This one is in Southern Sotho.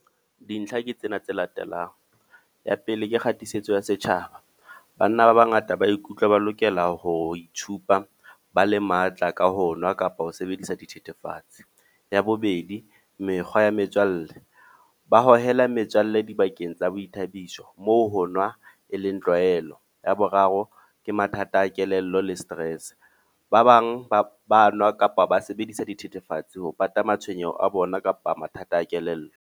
Dintlha ke tsena tse latelang, ya pele ke kgatisitswe ya setjhaba. Banna ba bangata ba ikutlwa ba lokela ho itshupa ba le matla ka ho nwa kapa ho sebedisa dithethefatse. Ya bobedi, mekgwa ya metswalle. Ba hohela metswalle dibakeng tsa boithabiso. Moo ho nwa e leng tlwaelo. Ya boraro, ke mathata a kelello le stress. Ba bang ba ba nwa kapa ba sebedisa dithethefatsi ho pata matshwenyeho a bona kapa mathata a kelello.